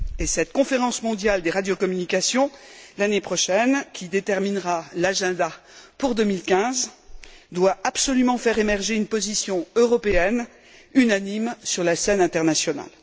Cette Conférence mondiale des radiocommunications, l'année prochaine, qui déterminera les priorités pour 2015, devra absolument faire émerger une position européenne unanime sur la scène internationale.